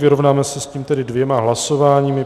Vyrovnáme se s tím tedy dvěma hlasováními.